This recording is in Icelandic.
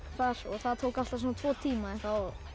það það tók alltaf svona tvo tíma þá